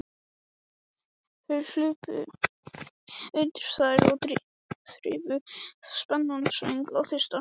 Þau hlupu undir þær og þrifu spenana svöng og þyrst.